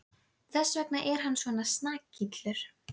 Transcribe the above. Þess vegna er hann svona snakillur.